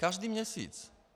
Každý měsíc.